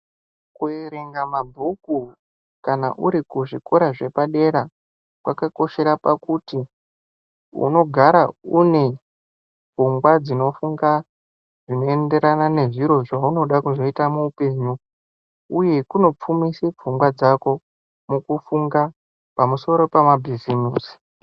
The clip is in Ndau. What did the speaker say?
Kuerenga mabhuku kana uri kuzvikora zvepadera kwakakoshera pakuti unogara unepfungwa dzino funga zvinoenderana nezviro zvaunoda kuzoita muhupenyu uye kunopfumise pfungwa dzako mukufunga pamusoro pemabhizimusi.